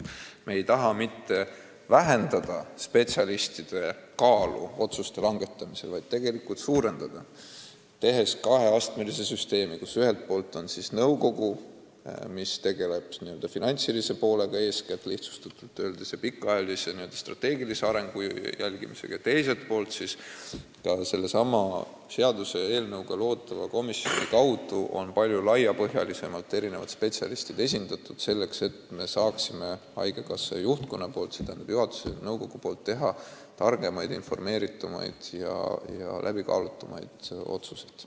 Me ei taha mitte vähendada spetsialistide kaalu otsuste langetamisel, vaid tegelikult seda suurendada, tehes kaheastmelise süsteemi, kus ühelt poolt on nõukogu, mis tegeleb eeskätt finantsilise poolega, lihtsustatult öeldes, ja pikaajalise strateegilise arengu jälgimisega, teiselt poolt on sellesama seaduseelnõuga loodava komisjoni kaudu erinevad spetsialistid esindatud palju laiapõhjalisemalt, selleks et haigekassa juhtkond, st juhatus ja nõukogu, saaks teha targemaid, teadlikumaid ja läbikaalutumaid otsuseid.